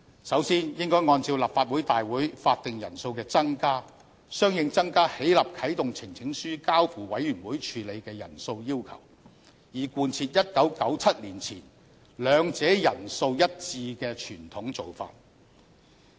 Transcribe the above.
首先，應該按照立法會大會法定人數的增加，相應增加起立啟動呈請書交付委員會處理的人數要求，以貫徹1997年前兩者人數一致的傳統做法。